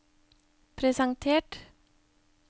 presentert